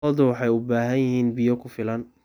Lo'du waxay u baahan yihiin biyo ku filan.